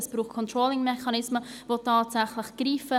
Es braucht Controlling-Mechanismen, die tatsächlich greifen.